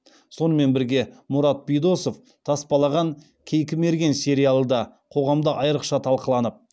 сонымен бірге мұрат бидосов таспалаған кейкі мерген сериалы да қоғамда айрықша талқыланып